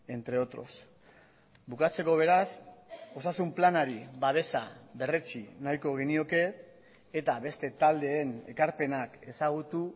entre otros bukatzeko beraz osasun planari babesa berretsi nahiko genioke eta beste taldeen ekarpenak ezagutu